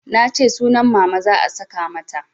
Nace sunan Mama za a saka mata